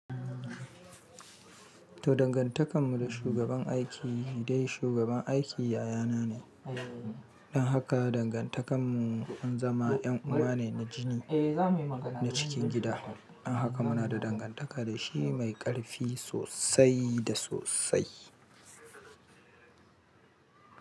To dangantakar mu da shugaban aiki dai shugaban aiki yaya na ne. Don haka dangantakar mu an zama yan uwa ne na jini na cikin gida. Don haka muna da dangantaka da shi mai ƙarfi sosai da sosai.